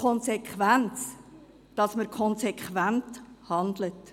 Es ist wichtig, dass man konsequent handelt.